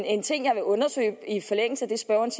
en ting jeg vil undersøge i så